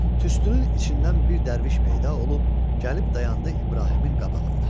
Tüstünün içindən bir dərviş peyda olub gəlib dayandı İbrahimin qabağında.